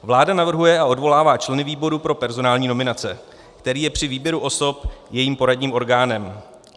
Vláda navrhuje a odvolává členy výboru pro personální nominace, který je při výběru osob jejím poradním orgánem.